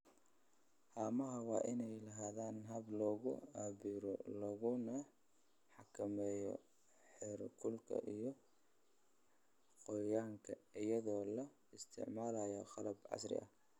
Haamaha waa inay lahaadaan habab lagu cabbiro laguna xakameeyo heerkulka iyo qoyaanka iyadoo la isticmaalayo qalab casri ah.